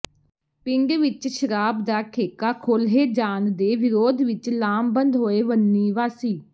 ਪਿੰਡ ਵਿਚ ਸ਼ਰਾਬ ਦਾ ਠੇਕਾ ਖੋਲੇ੍ਹ ਜਾਣ ਦੇ ਵਿਰੋਧ ਵਿਚ ਲਾਮਬੰਦ ਹੋਏ ਵਣੀ ਵਾਸੀ